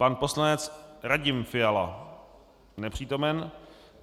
Pan poslanec Radim Fiala: Nepřítomen.